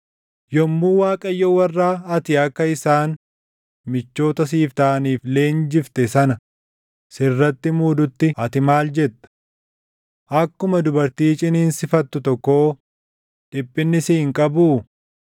Yommuu Waaqayyo warra ati akka isaan michoota siif taʼaniif leenjifte sana sirratti muudutti ati maal jetta? Akkuma dubartii ciniinsifattu tokkoo dhiphinni si hin qabuu?